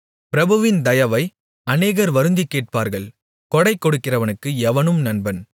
பிரபுவின் தயவை அநேகர் வருந்திக் கேட்பார்கள் கொடைகொடுக்கிறவனுக்கு எவனும் நண்பன்